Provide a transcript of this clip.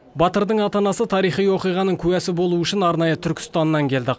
батырдың ата анасы тарихи оқиғаның куәсі болуы үшін арнайы түркістаннан келді